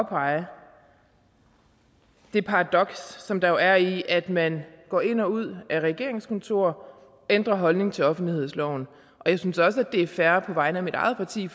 at påpege det paradoks som der jo er i at man går ind og ud af regeringskontorer og ændrer holdning til offentlighedsloven jeg synes også det er fair på vegne af mit eget parti